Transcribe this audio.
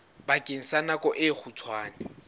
bakeng sa nako e kgutshwane